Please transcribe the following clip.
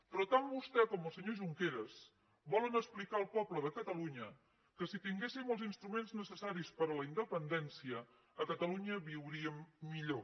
però tant vostè com el senyor junqueras volen explicar al poble de catalunya que si tinguéssim els instruments necessaris per a la independència a catalunya viuríem millor